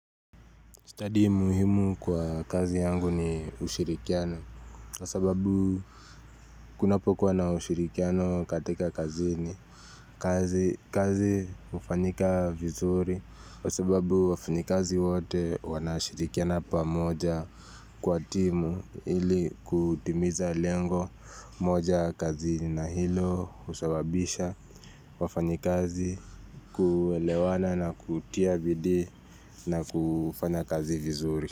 Stadi muhimu kwa kazi yangu ni ushirikiano kwa sababu kunapokuwa na ushirikiano katika kazini kazi hufanyika vizuri kwa sababu wafanyikazi wote wanashirikiana pamoja kwa timu ili kutimiza lengo moja kazini na hilo husababisha wafanyikazi kuelewana na kutia bidii na kufanya kazi vizuri.